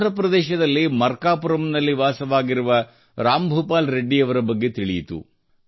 ಆಂಧ್ರ ಪ್ರದೇಶದಲ್ಲಿ ಮರ್ಕಾಪುರಂನಲ್ಲಿ ವಾಸವಾಗಿರುವ ರಾಮ್ ಭೂಪಾಲ್ ರೆಡ್ಡಿ ಅವರ ಬಗ್ಗೆ ತಿಳಿಯಿತು